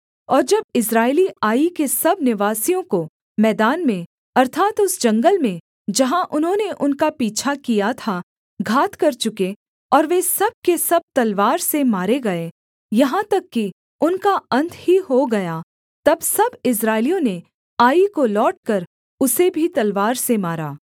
और जब इस्राएली आई के सब निवासियों को मैदान में अर्थात् उस जंगल में जहाँ उन्होंने उनका पीछा किया था घात कर चुके और वे सब के सब तलवार से मारे गए यहाँ तक कि उनका अन्त ही हो गया तब सब इस्राएलियों ने आई को लौटकर उसे भी तलवार से मारा